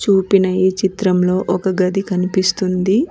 చూపిన ఈ చిత్రంలో ఒక గది కనిపిస్తుంది.